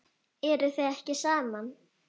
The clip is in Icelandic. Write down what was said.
Eruð þið ekki saman?